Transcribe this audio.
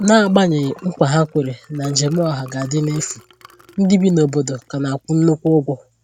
N'agbanyeghị nkwa ha kwèrè na njem ọha ga-adị n’efu, ndị bi n’obodo ka na-akwụ nnukwu ụgwọ